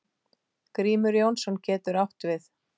Grímur Jónsson getur átt við